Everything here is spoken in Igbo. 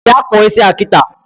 Bịa kpụọ isia kịta!